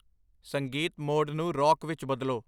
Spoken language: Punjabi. ਸੰਗੀਤ ਮੋਡ ਨੂੰ ਰੌਕ ਵਿੱਚ ਬਦਲੋ